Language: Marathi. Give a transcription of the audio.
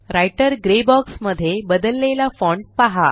राइटर ग्रे बॉक्स मध्ये बदललेला फॉण्ट पहा